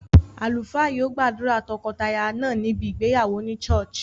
Àlùfáà yio gbàdùrà tokotaya náà níbi ìgbéyàwó ni churh